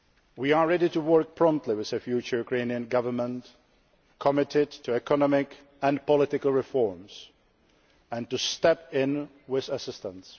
We are ready to work promptly with a future Ukrainian government committed to economic and political reforms, and to step in with assistance.